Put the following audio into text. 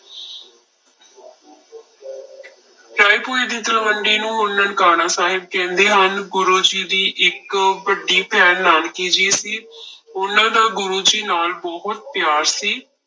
ਰਾਏਭੋਇ ਦੀ ਤਲਵੰਡੀ ਨੂੰ ਹੁਣ ਨਨਕਾਣਾ ਸਾਹਿਬ ਕਹਿੰਦੇ ਹਨ, ਗੁਰੂ ਜੀ ਦੀ ਇੱਕ ਵੱਡੀ ਭੈਣ ਨਾਨਕੀ ਜੀ ਸੀ ਉਹਨਾਂ ਦਾ ਗੁਰੂ ਜੀ ਨਾਲ ਬਹੁਤ ਪਿਆਰ ਸੀ।